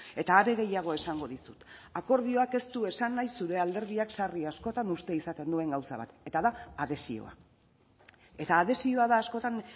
eta are gehiago esango dizut akordioak ez du esan nahi zure alderdiak sarri askotan uste izaten duen gauza bat eta da adhesioa eta adhesioa da askotan